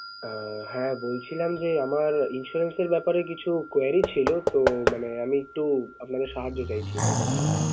আহ হ্যাঁ বলছিলাম যে, আমার insurance এর ব্যাপারে কিছু query ছিল তো মানে আমি একটু আপনাদের সাহায্য চাইছি, এটার ব্যাপারে।